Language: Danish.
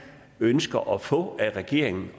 ønsker at få af regeringen